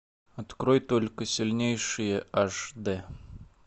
открой только сильнейшие аш д